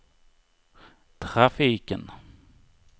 trafiken